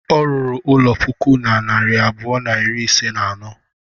Ọ rụrụ ụlọ puku na narị abụọ na iri ise na anọ.